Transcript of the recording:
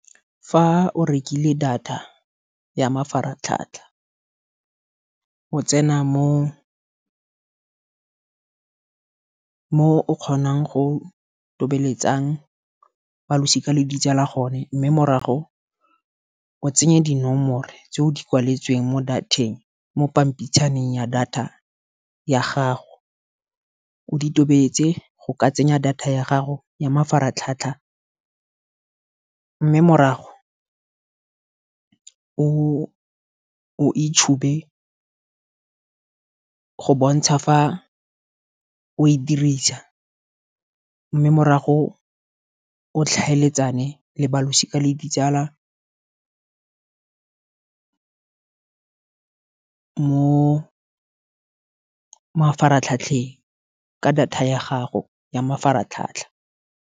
Fa o rekile data ya mafaratlhatlha, o tsena mo o kgonang go tobeletsang ba losika le ditsala gone. Mme morago o tsenye dinomoro tse o di kwaletsweng mo pampitshaneng ya data ya gago. O di tobetsa go ka tsenya data ya gago ya mafaratlhatlha, mme morago o o e tšhube go bontsha fa o e dirisa. Mme morago o tlhaeletsane le balosika le ditsala mo mafaratlhatlheng, ka data ya gago ya mafaratlhatlha.